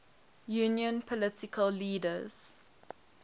union political leaders